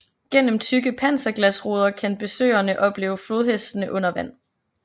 Gennem tykke panserglasruder kan besøgerne oplever flodhestene under vand